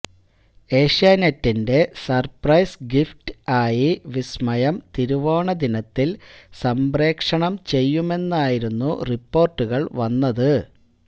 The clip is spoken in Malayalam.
ഏഷ്യാനെറ്റിന്റെ സര്പ്രൈസ് ഗിഫ്റ്റ് ആയി വിസ്മയം തിരുവോണദിനത്തില് സംപ്രേക്ഷണം ചെയ്യുമെന്നായിരുന്നു റിപ്പോര്ട്ടുകള് വന്നത്